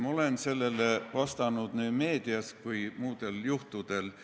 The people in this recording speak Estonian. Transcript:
Ma olen sellele vastanud nii meedias kui ka muudel juhtudel.